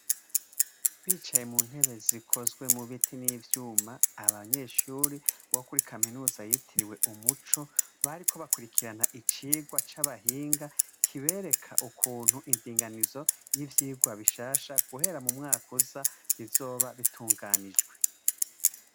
Bicaye muntebe zikozwe mubiti nivyuma abanyeshure bokuri kaminuza yitiriwe umuco bariko bakurikirana icirwa cabahinga kibereka ukuntu indinganizo yivyirwa bishasha guhera mumwaka uza bizoba bitunganijwe